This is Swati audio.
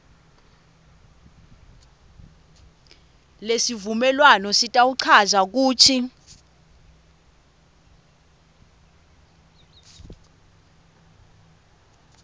lesivumelwano sitawuchaza kutsi